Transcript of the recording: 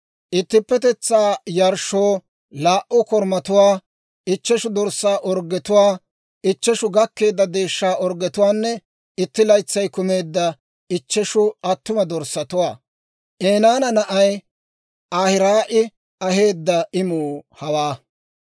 ittippetetsaa yarshshoo laa"u korumatuwaa, ichcheshu dorssaa orggetuwaa, ichcheshu gakkeedda deeshshaa orggetuwaanne itti laytsay kumeedda ichcheshu attuma dorssatuwaa. Enaana na'ay Ahiraa'i aheedda imuu hawaa.